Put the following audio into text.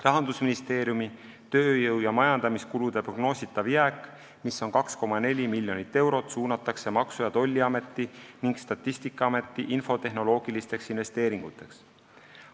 Rahandusministeeriumi tööjõu- ja majandamiskulude prognoositav jääk, mis on 2,4 miljonit eurot, suunatakse Maksu- ja Tolliameti ning Statistikaameti infotehnoloogilisteks investeeringuteks.